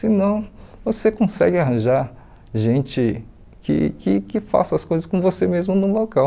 Se não, você consegue arranjar gente que que que faça as coisas com você mesmo no local.